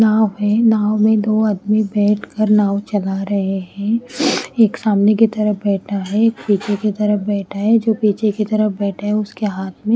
यहां पर नाव में दो आदमी बैठ कर नाव चला रहे हैं। एक सामने की तरफ बैठा है एक पीछे की तरफ बैठा है जो पीछे की तरफ बैठा है उसके हाथ में --